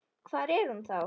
Hvar er hún þá?